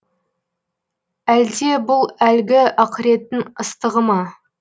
әлде бұл әлгі ақыреттің ыстығы ма